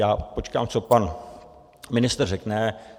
Já počkám, co pan ministr řekne.